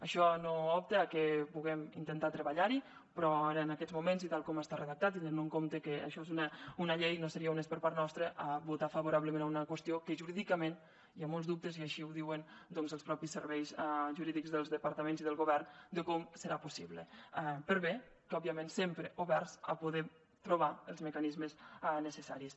això no obsta que puguem intentar treballar hi però ara en aquests moments tal com està redactat i tenint en compte que això és una llei no seria honest per part nostra votar favorablement a una qüestió que jurídicament hi ha molts dubtes i així ho diuen els mateixos serveis jurídics dels departaments i del govern de com serà possible per bé que òbviament sempre oberts a poder trobar els mecanismes necessaris